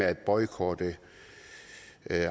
at boykotte